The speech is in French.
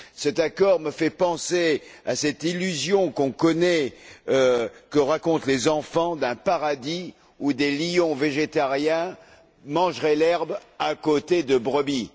Cet accord me fait penser à cette illusion qu'on connaît, que racontent les enfants, d'un paradis où les lions végétariens mangeraient l'herbe à côté des brebis.